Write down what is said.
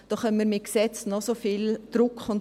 Da können wir mit Gesetzen noch so viel Druck machen;